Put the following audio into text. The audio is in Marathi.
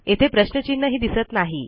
येथे प्रश्नचिन्ह ही दिसत नाही